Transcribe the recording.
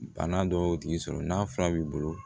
Bana dɔw y'o tigi sɔrɔ n'a fura b'i bolo